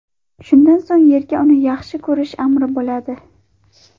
Shundan so‘ng yerga uni yaxshi ko‘rish amri bo‘ladi”.